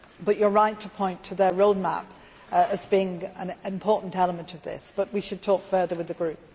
You are right to point to their road map as being an important element of this, but we should talk further with the group.